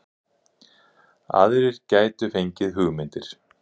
Aðrir gætu fengið hugmyndir